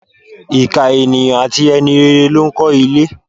Ìkà ènìyàn àti e̩ni rere ló ń ko̩ ilé.